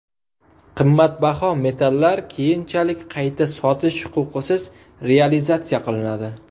Qimmatbaho metallar keyinchalik qayta sotish huquqisiz realizatsiya qilinadi.